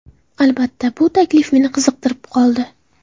Albatta, bu taklif meni qiziqtirib qoldi.